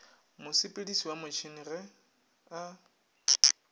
mosepediši wa motšhene ge a